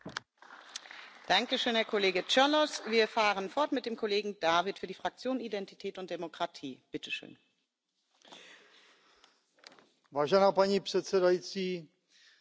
Paní předsedající, připravuje se budování velmi nákladné databáze evidující informace o evropských zemědělcích, prvovýrobcích,